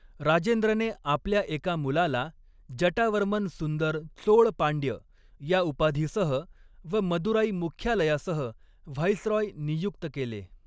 राजेंद्रने आपल्या एका मुलाला जटावर्मन सुंदर चोळ पांड्य या उपाधीसह व मदुराई मुख्यालयासह व्हाईसरॉय नियुक्त केले.